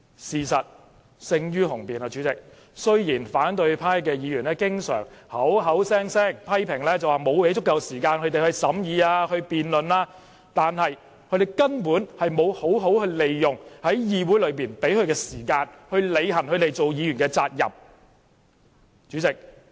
事實勝於雄辯，雖然反對派議員經常口口聲聲批評主席沒有給予他們足夠時間審議及辯論，但他們根本沒有好好利用議會時間，履行他們作為議員的責任。